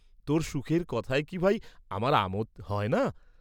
তোর সুখের কথায় কি ভাই, আমার আমোদ হয় না?